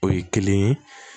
O ye kelen ye